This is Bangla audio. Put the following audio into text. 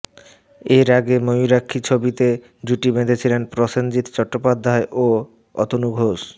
এর আগে ময়ূরাক্ষী ছবিতে জুটি বেঁধেছিলেন প্রসেনজিৎ চট্টোপাধ্যায় ও অতনু ঘোষ